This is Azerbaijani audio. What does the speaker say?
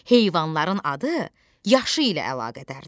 Heyvanların adı yaşı ilə əlaqədardır.